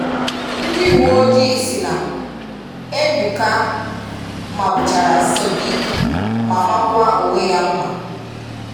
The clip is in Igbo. Ndị uwe ojii sị na, “Ebuka mmàgbùchàrà Sodiq ma mākwaa onwe ya mma.”